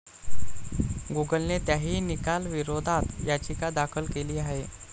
गुगलने त्याही निकालाविरोधात याचिका दाखल केली आहे.